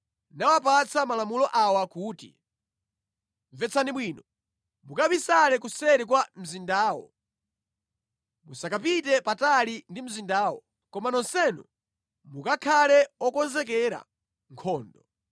nawapatsa malamulo awa kuti, “Mvetsani bwino; mukabisale kuseri kwa mzindawo. Musakapite patali ndi mzindawo, koma nonsenu mukakhale okonzekera nkhondo.